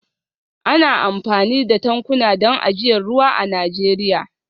Ana amfani da tankuna don ajiyar ruwa a Najeriya